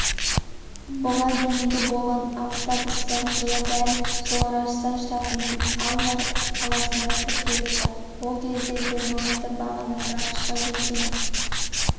бұған дейінгі болған аптап ыстық жылы дәл сол раджастан штатының алвар қаласында тіркеліпті ол кезде термометр бағаны градусқа жеткен